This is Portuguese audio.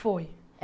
Foi.